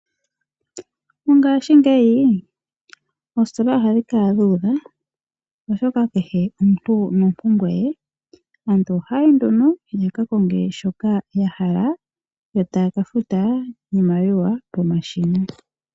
Mongashingeyi oositola ohadhi kala dhuudha oshoka kehe omuntu nompumbwe ye. Aantu ohaya yi nduno yakakonge shoka yahala yo taya kafuta iimaliwa pomashina.